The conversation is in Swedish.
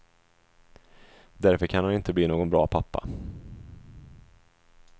Därför kan han inte bli någon bra pappa.